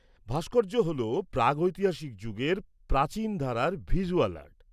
-ভাস্কর্য হল প্রাগৈতিহাসিক যুগের প্রাচীন ধারার ভিজ্যুয়াল আর্ট।